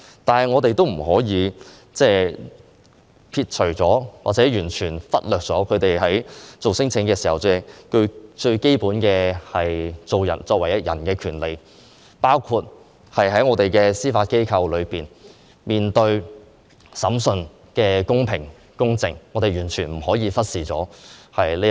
但是，我們也不可以完全忽略他們在作出聲請時，作為人應該享有的基本權利，包括在面對司法機構的審訊時，應接受公平公正的審訊，我們不可以忽視這一點。